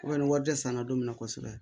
ni wari tɛ san na don min na kosɛbɛ